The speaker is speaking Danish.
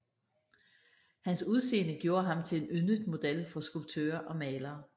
Hans udseende gjorde ham til en yndet model for skulptører og malere